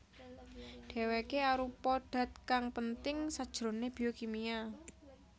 Dèwèké arupa dat kang penting sajroné biokimia